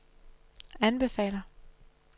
anbefaler